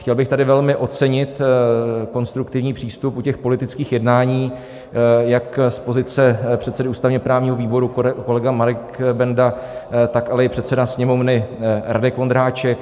Chtěl bych tady velmi ocenit konstruktivní přístup u těch politických jednání jak z pozice předsedy ústavně-právního výboru - kolega Marek Benda, tak ale i předseda Sněmovny Radek Vondráček.